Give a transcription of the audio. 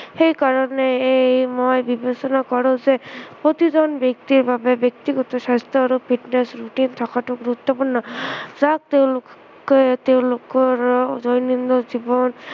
সেইকাৰণে এই মই বিবেচনা কৰো যে প্ৰতিজন ব্য়ক্তিৰ বাবে ব্য়ক্তিগত স্ৱাস্থ্য় আৰু fitness routine থকাটো গুৰুত্ৱপূৰ্ণ যাক তেওঁলোকে তেওঁলোকৰ দৈনন্দিন জীৱন